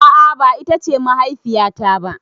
A'a ba ita ce mahaifiya ta ba.